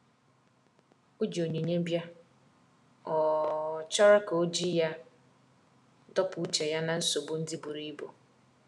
O ji onyinye bia,ọ um chọrọ ka oji ya dọpụ uche ya na nsogbo ndi buru ibụ.